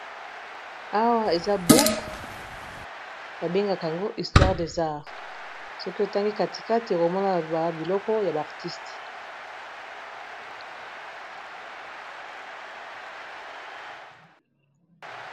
awa eza bouok babengaka yango istware de zare soki otangi katikate ekomona ba biloko ya bartiste